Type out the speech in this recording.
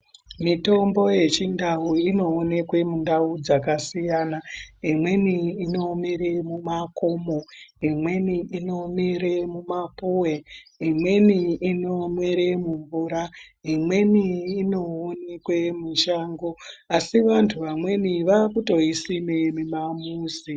Mitombo yechindau inoonekwe mundau dzakasiyana imweni inomemere mumakomo, imweni inomere mumapuwe, imweni inomere mumvura ,imweni inoonekwe mushango asi vantu vamweni vaakutoisime mumamizi.